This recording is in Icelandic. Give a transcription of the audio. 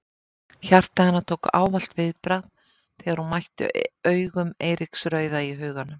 Hjarta hennar tók ávallt viðbragð þegar hún mætti augum Eiríks rauða í huganum.